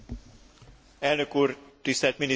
Elnök úr, tisztelt miniszterelnök úr!